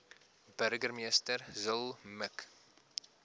burgemeester zille mik